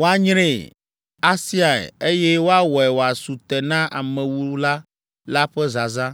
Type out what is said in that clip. woanyree, asiae, eye woawɔe wòasu te na amewula la ƒe zazã.